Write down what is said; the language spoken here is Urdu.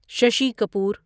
ششی کپور